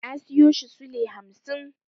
Na siyo shi sule hamsin.